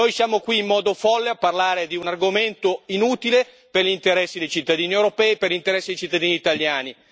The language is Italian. Noi siamo qui in modo folle a parlare di un argomento inutile per gli interessi dei cittadini europei e per gli interessi dei cittadini italiani.